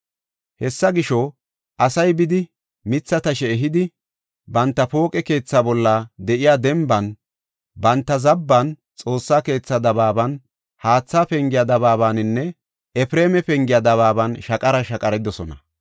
Hessa gisho, asay bidi mitha tashe ehidi banta pooqe keetha bolla de7iya denban, banta zabban, Xoossa keetha dabaaban, Haatha Pengiya dabaabaninne Efreema Pengiya dabaaban shaqara shaqaridosona.